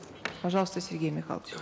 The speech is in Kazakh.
пожалуйста сергей михайлович